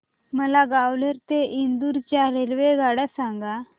मला ग्वाल्हेर ते इंदूर च्या रेल्वेगाड्या सांगा